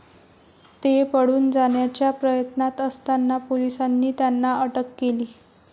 ते पळून जाण्याच्या प्रयत्नात असताना पोलिसांनी त्यांना अटक केली.